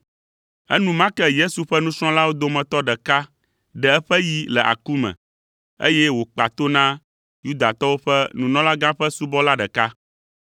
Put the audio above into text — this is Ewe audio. Enumake Yesu ƒe nusrɔ̃lawo dometɔ ɖeka ɖe eƒe yi le aku me, eye wòkpa to na Yudatɔwo ƒe nunɔlagã ƒe subɔla ɖeka.